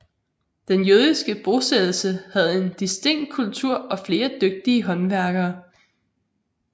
Den jødiske bosættelse havde en distinkt kultur og flere dygtige håndværkere